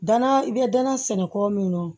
Dana i bɛ danaya sɛnɛ kɔ min na